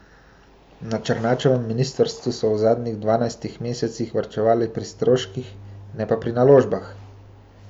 Na Černačevem ministrstvu so v zadnjih dvanajstih mesecih varčevali pri stroških, ne pa pri naložbah.